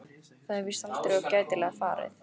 Það er víst aldrei of gætilega farið.